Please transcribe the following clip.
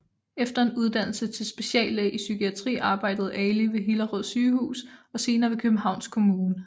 Efter en uddannelse til speciallæge i psykiatri arbejdede Ali ved Hillerød Sygehus og senere ved Københavns Kommune